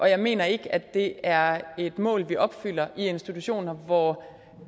jeg mener ikke det er et mål vi opfylder i institutioner hvor